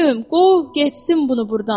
Pülüm, qov getsin bunu burdan.